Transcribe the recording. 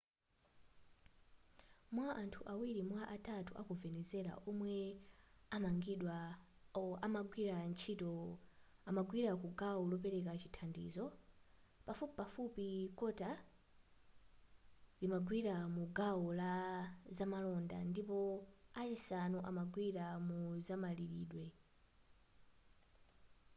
mwa anthu awiri mwa atatu aku venezuela omwe amagwira ntchito amagwira ku gawo lopereka chithandizo pafupifupi kota limagwira mu gawo la zamalonda ndipo a chisanu amagwira mu zamalilidwe